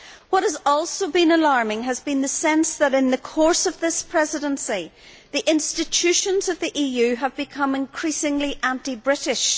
What has also been alarming has been the sense that in the course of this presidency the institutions of the EU have become increasingly anti British.